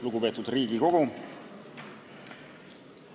Lugupeetud Riigikogu!